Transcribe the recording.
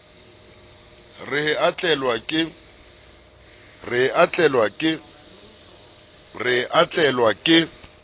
re he a tlelwa ke